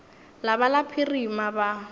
la ba la phirima ba